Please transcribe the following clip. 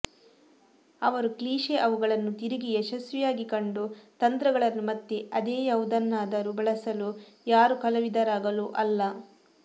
ಅವರು ಕ್ಲೀಷೆ ಅವುಗಳನ್ನು ತಿರುಗಿ ಯಶಸ್ವಿಯಾಗಿ ಕಂಡು ತಂತ್ರಗಳನ್ನು ಮತ್ತೆ ಅದೇ ಯಾವುದನ್ನಾದರೂ ಬಳಸಲು ಯಾರು ಕಲಾವಿದರಾಗಲು ಅಲ್ಲ